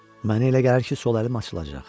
Mənə elə gəlir ki, sol əlim açılacaq.